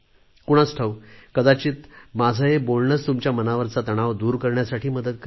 कुणास ठाऊक कदाचित माझं हे बोलणंच तुमच्या मनावरचा तणाव दूर करण्यासाठी मदत करेल